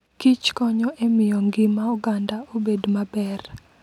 Kich konyo e miyo ngima oganda obed maber.